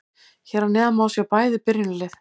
Hér að neðan má sjá bæði byrjunarlið.